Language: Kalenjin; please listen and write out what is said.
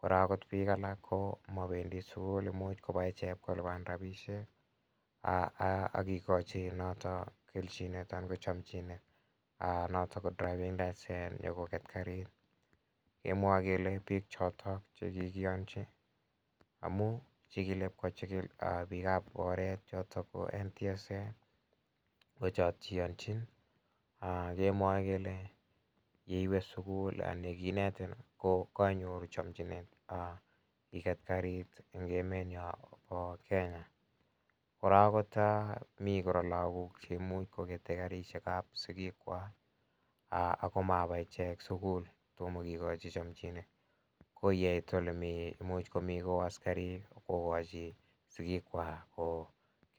Korok piik alak ko mapendi sukul imuch kopa ichek ip kolipan rapishek ak kikachi notok kelchinet anan ko chamchinet notok ko driving licence nyu koket karit. Kemwa kele piik chotok che kikiyanchi amu kikile ipkochikil piik ap oret chotok ko NTSA. Ko chot che iyanchin. Kemwae kele ngiwe sukup anan kinetin ko kainyoru chamchinet iget karit eng' emenya pa Kenya. Kora kota mi lagok che imuchi kokete katishek chepo sikiikwak akomapa icheg sukul, toma kikachi chamchinet ko yeit ole mi, imuch komi askarik kokachi sikikwak kolipan.